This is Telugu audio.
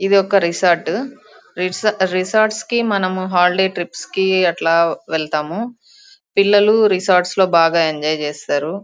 ఇదొక రిసార్ట్ రిసార్ట్ రిసార్ట్స్ కి మనము హాలిడే ట్రిప్స్ కి అట్లా వెళ్తాము పిల్లలు రిసార్ట్స్ లో బాగా ఎంజాయ్ చేస్తారు.